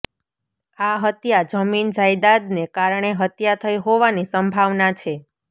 આ હત્યા જમીન જાયદાદને કારણે હત્યા થઈ હોવાની સંભાવના છે